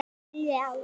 Mínir menn!